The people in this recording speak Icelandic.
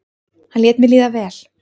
hann lét mér líða vel.